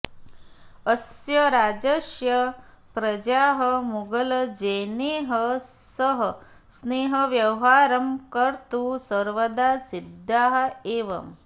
अस्य राज्यस्य प्रजाः मुगलजनैः सह स्नेहव्यवहारं कर्तुं सर्वदा सिद्धाः एव